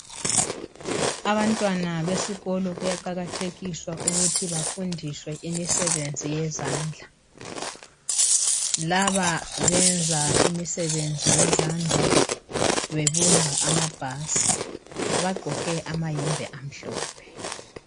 Abantwana besikolo kuyaqakathekiswa ukuthi bafundiswe imisebenzi yezandla. Laba benza imisebenzi yezandla bebumba amabhasi. Bagqoke amayembe amhlophe.